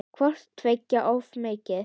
Hvort tveggja er of mikið.